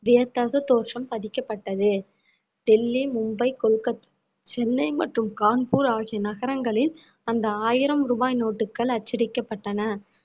வியத்தகு தோற்றம் பதிக்கப்பட்டது டெல்லி, மும்பை, கொல்கத்~ சென்னை மற்றும் கான்பூர் ஆகிய நகரங்களில் அந்த ஆயிரம் ரூபாய் நோட்டுகள் அச்சடிக்கப்பட்டன